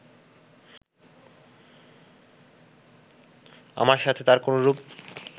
আমার সাথে তার কোনরূপ